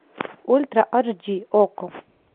ультра аш ди окко